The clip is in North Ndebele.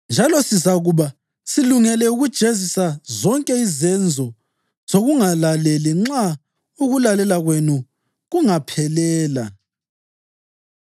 Njalo sizakuba silungele ukujezisa zonke izenzo zokungalaleli nxa ukulalela kwenu kungaphelela.